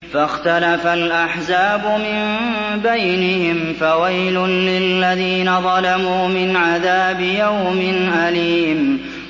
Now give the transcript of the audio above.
فَاخْتَلَفَ الْأَحْزَابُ مِن بَيْنِهِمْ ۖ فَوَيْلٌ لِّلَّذِينَ ظَلَمُوا مِنْ عَذَابِ يَوْمٍ أَلِيمٍ